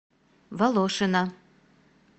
волошина